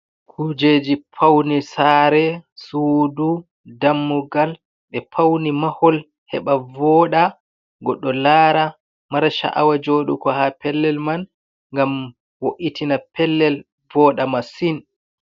Kujeji paune sare, sudu, dammugal ɓe pauni mahol, heɓa vooɗa, goɗɗo lara, mara sha’awa jooɗugo ha pellel man, ngam wo'itina pellel vooɗa masin.